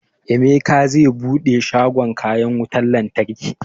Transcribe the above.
Emeka zai buɗe shagon kayan wutan lantarki